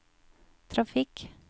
trafikk